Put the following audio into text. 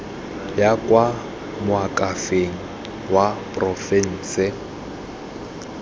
ya kwa moakhaefeng wa porofense